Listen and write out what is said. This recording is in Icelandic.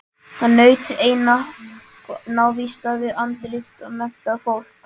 Hann naut einatt návista við andríkt og menntað fólk.